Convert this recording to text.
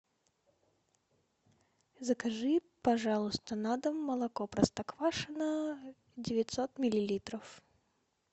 закажи пожалуйста на дом молоко простоквашино девятьсот миллилитров